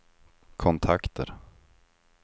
kontakter